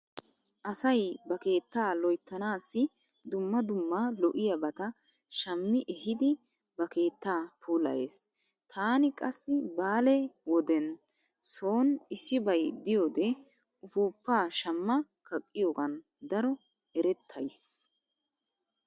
Asay ba keettaa loyttanaassi dumma dumma lo'iyabata shammi ehidi ba keettaa puulayees. Taani qassi baale wodenne sooni issibay diyode ufuuppa shamma kaqqiyogan daro erattays.